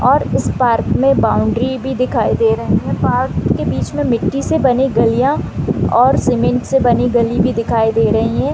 और इस पार्क में बॉउंड्री भी दिखाई दे रहे है पार्क के बिच में मिट्टी से बानी गालिया और सीमेंट से बनी गली भी दिखाई दे रही है।